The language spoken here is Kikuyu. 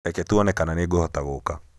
Reke tuone kana nĩngũhota gũũka